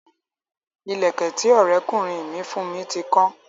Ìlẹ̀kẹ̀ tí Ọrẹ kunrin mi fún mi ti kan